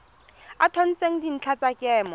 a tshotseng dintlha tsa kemo